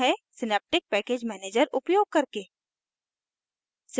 synaptic package manager उपयोग करके